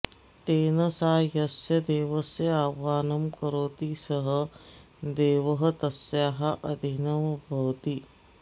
तेन सा यस्य देवस्य आवाहनं करोति सः देवः तस्याः अधिनः भवति